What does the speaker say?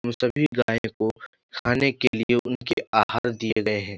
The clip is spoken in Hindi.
इन सभी गाय को खाने के लिए उनके आहार दिए गए हैं।